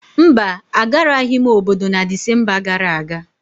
mba, Agaraghị m obodo na Disemba gara aga